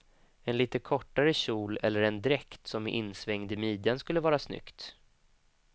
En lite kortare kjol eller en dräkt som är insvängd i midjan skulle vara snyggt.